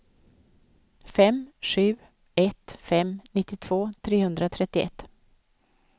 fem sju ett fem nittiotvå trehundratrettioett